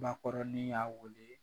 Bakɔrɔnin y'a wele